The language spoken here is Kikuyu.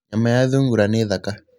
Nyama ya thungura nĩ thaka.